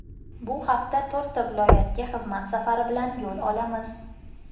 Bu hafta to‘rtta viloyatga xizmat safari bilan yo‘l olamiz.